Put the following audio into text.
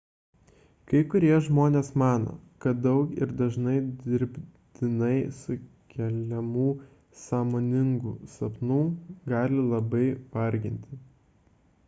kai kurie žmonės mano kad daug ir dažnai dirbtinai sukeliamų sąmoningų sapnų gali labai varginti